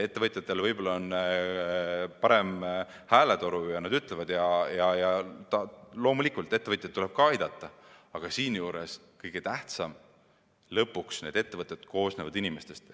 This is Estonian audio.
Ettevõtjatel on võib-olla parem hääletoru ja loomulikult tulebki neid aidata, aga kõige tähtsam on siinjuures see, et need ettevõtted koosnevad inimestest.